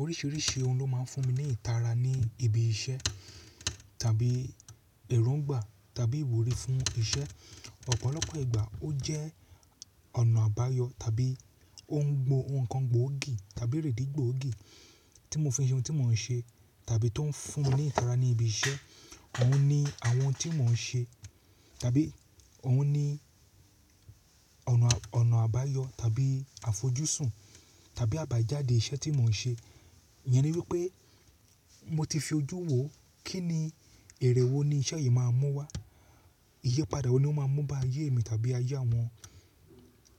Oríṣiríṣi ohun ló máa ń fún mi ní ìtara ní ibi iṣẹ́ tàbí èróńgbà tàbí ìwúrí fún iṣẹ́. Ọ̀pọ̀lọpọ̀ ìgbà ó jẹ́ ọ̀nà àbáyọ tàbí ó ń gbo ohun kan gbóògì tàbí rẹ̀dí gbògì tí mo fi ṣe ohun tí mò ń ṣe tàbí tó ń fún ní ìtara ní ibi iṣẹ́. Òun ni àwọn tí mò ń ṣe tàbí òun ni ọ̀nà, ọ̀nà àbáyọ tàbí àfojúsùn tàbí àbájáde iṣẹ́ tí mò ń ṣe. Iyẹn ni wípé mo ti fi ojú wò kí ni, èrè wo ni iṣẹ́ yìí máa mú wá. Iyipada wo ni ó máa mú bá ayé mi tàbí ayé àwọn,